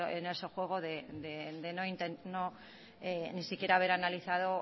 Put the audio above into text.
en ese juego de ni siquiera haber analizado